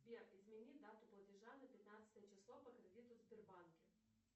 сбер измени дату платежа на пятнадцатое число по кредиту в сбербанке